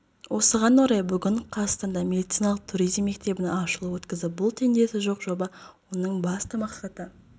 осыған орай бүгін қазақстанда медициналық туризм мектебінің ашылуын өткізді бұл теңдесі жоқ жоба оның басты мақсаты